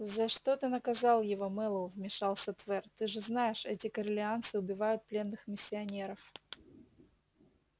за что ты наказал его мэллоу вмешался твер ты же знаешь эти корелианцы убивают пленных миссионеров